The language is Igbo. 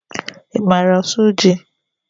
I maara asụ jị?